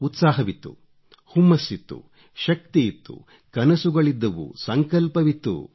ಉತ್ಸಾಹವಿತ್ತು ಹುಮ್ಮಸ್ಸಿತ್ತು ಶಕ್ತಿಯಿತ್ತು ಕನಸುಗಳಿದ್ದವು ಸಂಕಲ್ಪವಿತ್ತು